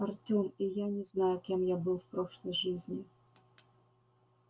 артём и я не знаю кем я был в прошлой жизни